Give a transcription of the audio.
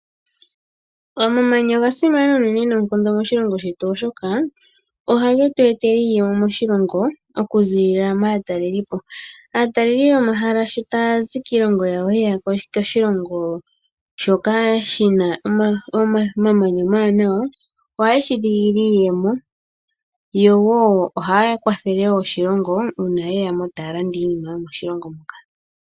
Omamanya oga simana uunene noonkondo moshilongo shetu oshoka ohage tu etele iiyemo moshilongo okuziilila maataleli po. Aataleli yomahala shi taya zi kiilongo yawo ye ya koshilongo shoka shina omamanya omawanawa. Ohashi eta iiyemo yo wo ohaya kwathele iilongo uuna taye ya moshilongo taya landa iinima moshilongo muka.